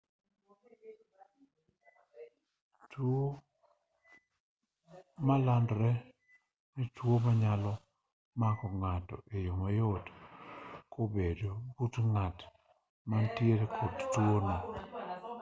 tuo malandore en tuo ma nyalo mako ng'ato e yo mayot kobedo but ng'at ma nitiere kod tuo no